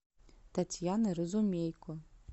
татьяна разумейко